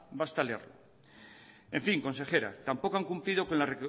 basta leerlo en fin consejera tampoco han cumplido que la